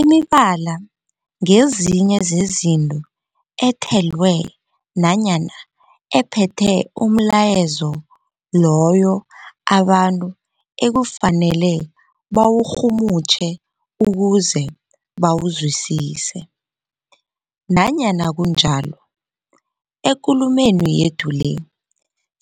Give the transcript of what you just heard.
Imibala ngezinye zezinto ethelwe nanyana ephethe umlayezo loyo abantu ekufanele bawurhumutjhe ukuze bawuzwisise. Nanyana kunjalo, ekulumeni yethu le